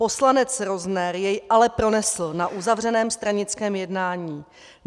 Poslanec Rozner jej ale pronesl na uzavřeném stranickém jednání.